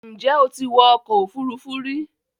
Ǹjẹ́ o ti wọ ọkọ̀ òfuurufú rí?